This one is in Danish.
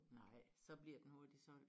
Nej så bliver den hurtigt solgt